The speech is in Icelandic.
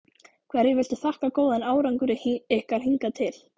Hverju viltu þakka góðan árangur ykkar hingað til?